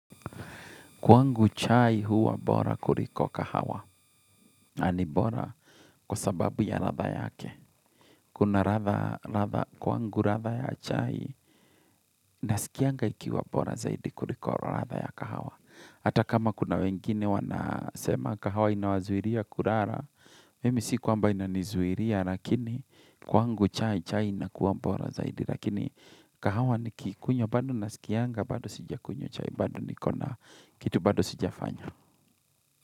Kwangu chai huwa bora kuliko kahawa. Na ni bora kwa sababu ya ladha yake. Kuna ladha, ladha, kwangu ladha ya chai, nasikianga ikiwa bora zaidi kuliko ladha ya kahawa. Hata kama kuna wengine wanasema kahawa inawazuilia kulala. Mimi si kwamba inanizuilia, lakini kwangu chai, chai inakuwa bora zaidi. Lakini kahawa nikiikunywa bado, nasikianga bado sijakunywa chai, bado niko na kitu bado sijafanya.